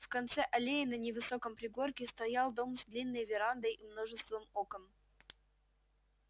в конце аллеи на невысоком пригорке стоял дом с длинной верандой и множеством окон